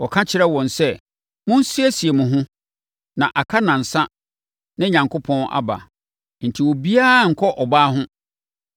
Ɔka kyerɛɛ wɔn sɛ, “Monsiesie mo ho, na aka nnansa na Onyankopɔn aba, enti obiara nnkɔ ɔbaa ho.”